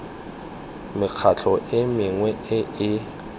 mekgatlho e mengwe e e